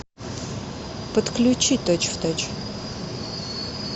подключи точь в точь